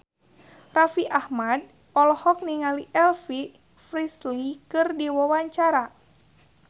Raffi Ahmad olohok ningali Elvis Presley keur diwawancara